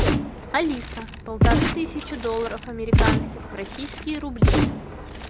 алиса полторы тысячи долларов американских в российские рубли